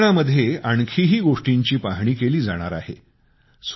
या सर्वेक्षणामध्ये आणखीही गोष्टींची पाहणी केली जाणार आहे